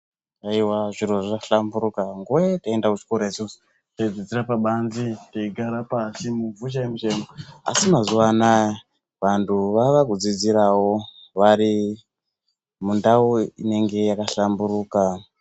Haiwa zviro zvahlamburika. Nguva yataienda kuchikoro isusu, taidzidzire pabanze teigare pashi, muvhu chaimo chaimo, asi mazuvanaya vantu vavakudzidzirawo varimundau inenge yakahlamburuka.